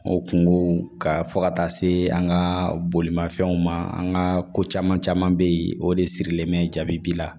O kungo ka fɔ ka taa se an ka bolimafɛnw ma an ka ko caman caman bɛ yen o de sirilen bɛ jaabi la